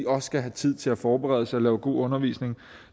også skal have tid til at forberede sig og lave god undervisning